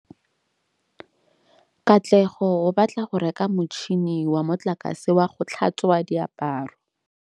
Katlego o batla go reka motšhine wa motlakase wa go tlhatswa diaparo.